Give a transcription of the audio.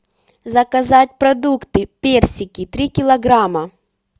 заказать продукты персики три килограмма